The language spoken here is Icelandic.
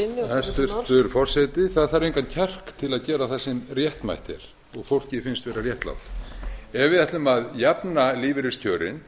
hæstvirtur forseti það þarf engan kjark til að gera það sem réttmætt er og fólki finnst vera réttlátt ef við ætlum að jafna lífeyriskjörin og